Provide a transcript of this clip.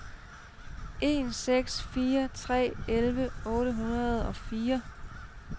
en seks fire tre elleve otte hundrede og fire